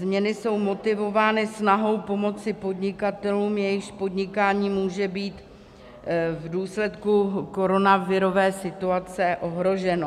Změny jsou motivovány snahou pomoci podnikatelům, jejichž podnikání může být v důsledku koronavirové situace ohroženo.